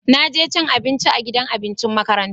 Na je cin abinci a gidan abincin makaranta.